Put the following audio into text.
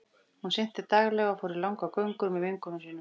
Hún synti daglega og fór í langar göngur með vinkonum sínum.